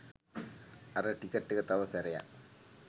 අර ටිකට් එක තව සැරයක්